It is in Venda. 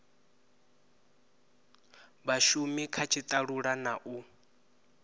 vhashumi kha tshitalula na u